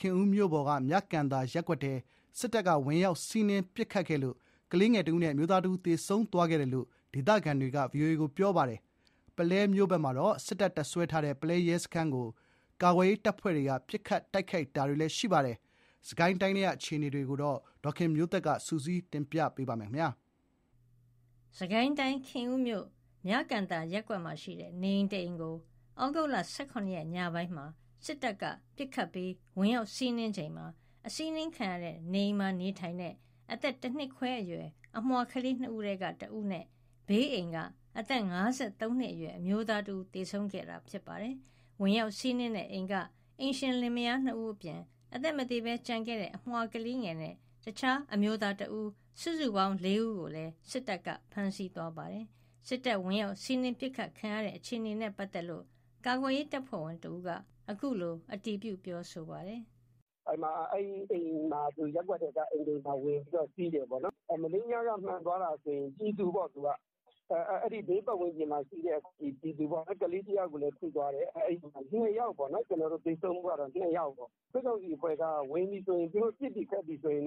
ခင်ဦးမြို့ပေါ်က မြကန်သာရပ်ကွက်ကို စစ်တပ်က ဝင်ရောက် စီးနင်းပစ်ခတ်ခဲ့လို့ ကလေးငယ် ၁ ဦးနဲ့ အမျိုးသား ၁ ဦး သေဆုံးသွားခဲ့တယ်လို့ ဒေသခံတွေက ပြောပါတယ်။ ပုလဲမြို့ပေါ်မှာလည်း စစ်တပ် တပ်စွဲထားတဲ့ ပုလဲ ရဲစခန်းကို ကာကွယ်ရေးတပ်ဖွဲ့တွေက ပစ်ခတ် တိုက်ခိုက်ခဲ့ပါတယ်။ စစ်ကိုင်းတိုင်းထဲက အခြေအနေတွေကို ဒေါ်ခင်မျိုးသက်က စုစည်းတင်ပြပေးထားပါတယ်။ စစ်ကိုင်းတိုင်း၊ ခင်ဦးမြို့၊ မြကန်သာရပ်ကွက်မှာရှိတဲ့ နေအိမ်တအိမ်ကို သြဂုတ် ၁၇ ရက်ညပိုင်းမှာ စစ်တပ်ကပစ်ခတ်ပြီး ဝင်ရောက်စီးနင်းချိန် နေအိမ်မှာနေထိုင်တဲ့ တနှစ်ခွဲအရွယ် အမွှာကလေး ၂ ဦးထဲက ၁ ဦးနဲ့ ဘေးအိမ်က အသက် ၅၃ နှစ်အရွယ်အမျိုးသား ၁ ဦး သေဆုံးခဲ့တာပါ။ ဝင်ရောက်စီးနင်းတဲ့အိမ်က အိမ်ရှင်လင်မယား ၂ ဦးအပြင် အသက်မသေဘဲကျန်ခဲ့တဲ့ အမြွာကလေးငယ်နဲ့ အခြားအမျိုးသား ၁ ဦး စုစုပေါင်း ၄ ဦးကိုလည်း စစ်တပ်က ဖမ်းဆီးသွားပါတယ်။ စစ်တပ်ဝင်ရောက်စီးနင်း ပစ်ခတ်ခံရတဲ့အခြေအနေနဲ့ ပတ်သက်လို့ ကာကွယ်ရေးတပ်ဖွဲ့ဝင်တဦးက အခုလို အတည်ပြု ပြောပါတယ်။ “ရပ်ကွက်ထဲကအိမ်တအိမ်မှာ ဝင်ပြီးတော့ စီးတယ်ပေါ့နော်။ မနေ့ညက မှန်သွားတာဆို ဘေးပတ်ဝန်းကျင်မှာရှိတဲ့ ပြည်သူပေါ့။ ကလေးတယောက်ကိုလည်း ထိသွားတယ်။ သေဆုံးမှုကတော့ ၂ ယောက်ပေါ့။ စစ်ကောင်စီက ဝင်ပြီဆိုရင် သူတို့ ပစ်ပြီခတ်ပြီဆိုရင်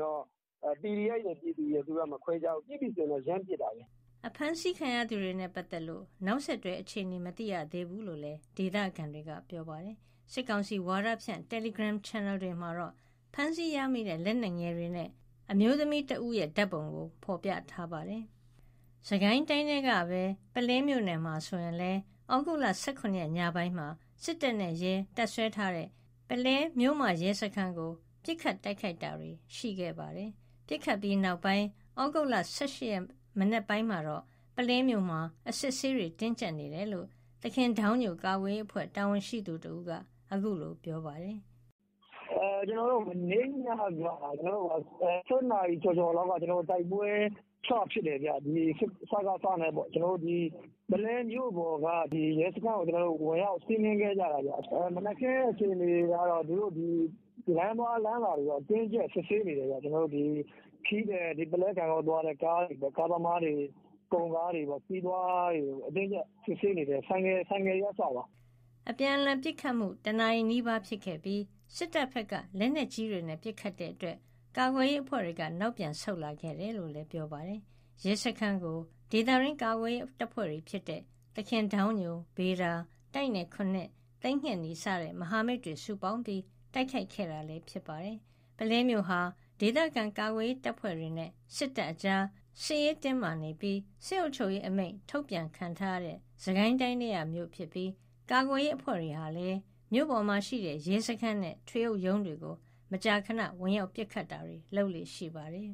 PDF ရယ် ပြည်သူရယ် မခွဲခြားဘူး။ ပစ်ပြီဆို ရမ်းပစ်တာ။” ဖမ်းဆီးခံရသူတွေနဲ့ပတ်သက်လို့ နောက်ဆက်တွဲ အခြေအနေမသိရသေးဘူးလို့ ဒေသခံတွေက ပြောပါတယ်။ စစ်ကောင်စီဝါဒဖြန့် တယ်လီဂရမ်ချန်နယ်တွေမှာတော့ ဖမ်းဆီးရမိတဲ့ လက်နက်ငယ်တွေနဲ့ အမျိုးသမီးတဦး ဓာတ်ပုံကို ဖော်ပြထားပါတယ်။ စစ်ကိုင်းတိုင်းထဲကပဲ ပုလဲမြို့နယ်မှာဆိုရင်လည်း သြဂုတ်လ ၁၇ ရက် ညပိုင်းမှာ စစ်တပ်နဲ့ရဲ တပ်စွဲထားတဲ့ ပုလဲမြို့မရဲစခန်းကို ပစ်ခတ် တိုက်ခိုက်တာတွေ ရှိခဲ့ပါတယ်။ ပစ်ခတ်ပြီးနောက်ပိုင်း သြဂုတ်လ ၁၈ ရက် မနက်ပိုင်းမှာတော့ ပုလဲမြို့မှာ အစစ်အဆေးတွေ တင်းကျပ်နေတယ်လို့ သခင်ဒေါင်းညို ကာကွယ်ရေးအဖွဲ့ တာဝန်ရှိသူတဦးက အခုလို ပြောပါတယ်။ “မနေ့ညက ၁၁ နာရီကျော်ကျော်လောက်က တိုက်ပွဲစဖြစ်တယ်။ စကစနဲ့ ပုလဲမြို့ပေါ်က ရဲစခန်းကို ဝင်ရောက်စီးနင်းခဲ့ကြတာ။ မနက်ခင်း အခြေအနေကတော့ လမ်းသွားလမ်းလာတွေကို အတင်းအကျပ် စစ်ဆေးနေတယ်။ ခရီးသည် ပုလဲ ဂန့်ဂေါသွားတဲ့ ကားသမားတွေ၊ ကုန်ကားသမားတွေ၊ ခရီးသွားတွေကို အတင်းအကျပ် စစ်ဆေးနေတယ်။ ဆိုင်ကယ်တွေက အစပေါ့။” တနာရီနီးပါး အပြန်အလှန်ပစ်ခတ်ခဲ့ပြီး စစ်တပ်ဘက်က လက်နက်ကြီးတွေနဲ့ ပစ်ခတ်တာကြောင့် ကာကွယ်ရေးအဖွဲ့တွေက နောက်ပြန်ဆုတ်လာခဲ့တယ်လို့လည်း ပြောပါတယ်။ ရဲစခန်းကို ဒေသတွင်း ကာကွယ်ရေးတပ်ဖွဲ့တွေ ဖြစ်တဲ့ သခင်ဒေါင်းညို၊ ဗေဒါ ၊ တိုက်နယ် ၇ ၊ သိမ်းငှက်နီ စတဲ့ မဟာမိတ်တွေစုပေါင်းပြီး တိုက်ခိုက်ခဲ့တာလည်း ဖြစ်ပါတယ်။ ပုလဲမြို့ဟာ ဒေသခံကာကွယ်ရေး တပ်ဖွဲ့တွေနဲ့ စစ်တပ်အကြာ စစ်ရေးတင်းမာပြီး စစ်အုပ်ချုပ်ရေးအမိန့် ထုတ်ပြန်ခံထားရတဲ့ စစ်ကိုင်းတိုင်းထဲက မြို့ဖြစ်ပြီး ကာကွယ်ရေး အဖွဲ့တွေဟာလည်း မြို့ပေါ်မှာရှိတဲ့ ရဲစခန်းနဲ့ ထွေအုပ်ရုံးကို မကြာခဏ ဝင်ရောက်ပစ်ခတ်လေ့ရှိပါတယ်။